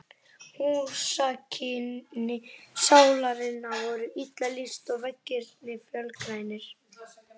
Húsakynni Sálarinnar voru illa lýst, og veggirnir fölgrænir.